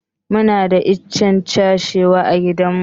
Muna da ichen cashew a gidan mu